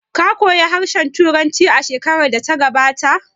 Ka koya harshen Turanci shekarar da ta gabata?